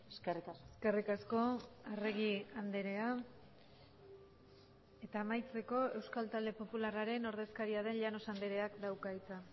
eskerrik asko eskerrik asko arregi andrea eta amaitzeko euskal talde popularraren ordezkaria den llanos andreak dauka hitza